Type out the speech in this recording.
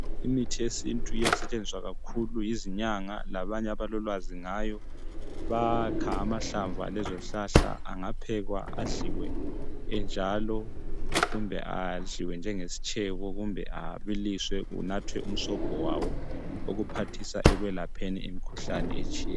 Imithi yesintu iyasetshenziswa kakhulu yizinyanga labanye abalolwazi ngayo bayakha amahlamvu alezozihlahla angaphekwa adliwe enjalo kumbe adliwe njengesitshebo kumbe abiliswe kunathwe umsobho wawo okuphathisa ekwelapheni imikhuhlane etshiyeneyo.